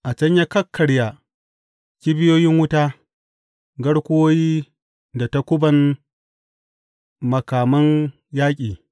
A can ya kakkarya kibiyoyin wuta, garkuwoyi da takuban, makaman yaƙi.